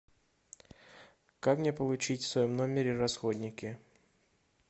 как мне получить в своем номере расходники